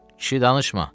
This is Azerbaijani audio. Kişi danışma!